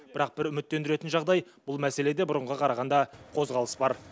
бірақ бір үміттендіретін жағдай бұл мәселеде бұрынғыға қарағанда қозғалыс бар